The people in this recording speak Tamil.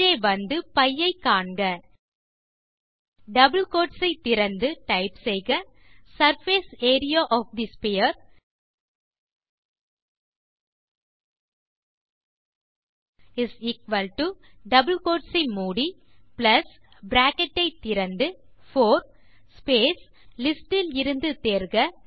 கீழே வந்து π ஐ காண்க டபிள் கோட் திறந்து டைப் செய்க surface area of the sphere double quote மூடி பிளஸ் பிராக்கெட் திறந்து 4 ஸ்பேஸ் லிஸ்டிலிருந்து தேர்க